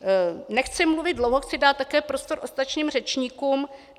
Nechci mluvit dlouho, chci dát také prostor ostatním řečníkům.